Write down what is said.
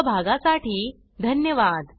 सहभागासाठी धन्यवाद